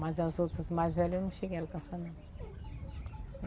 Mas as outras mais velhas eu não cheguei a alcançar não.